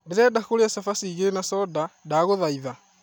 ndĩrenda kũrĩa chabaci igĩrĩ na soda, ndagũthaitha